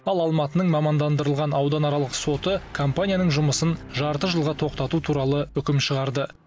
ал алматының мамандандырылған ауданаралық соты компанияның жұмысын жарты жылға тоқтату туралы үкім шығарды